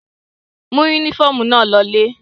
Mú únífọ́ọ́mù náà lọ ilé!